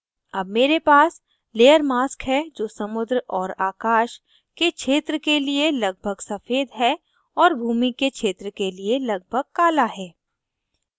अब मेरे पास layer mask है जो समुद्र और आकाश के क्षेत्र के लिए लगभग सफ़ेद है और भूमि के क्षेत्र के लिए लगभग काला है